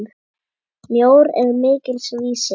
Mjór er mikils vísir.